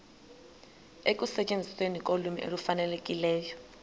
ekusetyenzisweni kolwimi olufanelekileyo